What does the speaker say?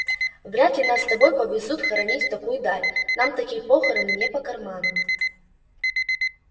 вряд ли нас с тобой повезут хоронить в такую даль нам такие похороны не по карману